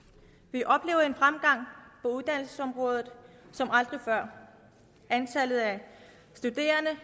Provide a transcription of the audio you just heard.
vi oplever en fremgang på uddannelsesområdet som aldrig før antallet af studerende